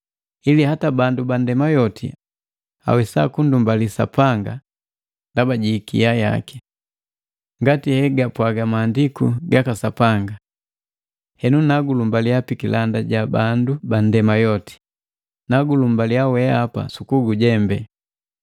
ili hata bandu ba nndema yoti awesa kundumbali Sapanga ndaba ji ikia yaki. Ngati hegapwaga maandiku gaka Sapanga, “Henu nakulumbalia pikilanda sa bandu banndema yoti, Nagulumbaliya weapa sukugujembe.”